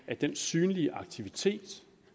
at den synlige aktivitet